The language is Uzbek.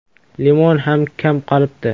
Limon ham kam qolibdi.